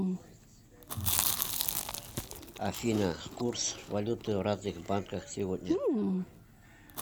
афина курс валюты в разных банках сегодня